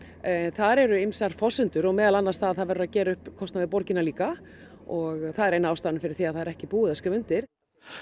þar eru ýmsar forsendur meðal annars að það verður að gera upp kostnað við borgina líka og það er ein af ástæðunum fyrir því að það er ekki búið að skrifa undir